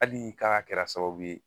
Hali k'a kɛra sababu ye.